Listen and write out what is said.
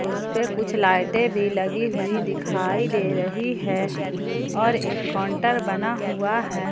उसे पे कुछ लाइटें भी लगी हुई दिखाई दे रही है और एक काउंटर बना हुआ है।